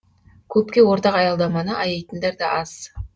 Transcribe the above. көпке ортақ аялдаманы аяйтындар да аз